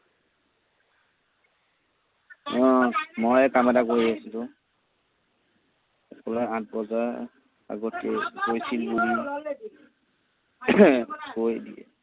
অ, মই এই কাম এটা কৰি আছিলো অ। পুৱা আঠ বজাৰ আগতেই গৈছিল কৈ দিয়ে।